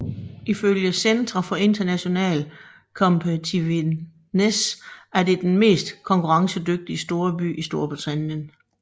Ifølge Centre for International Competitiveness er det den mest konkurrencedygtig storby i Storbritannien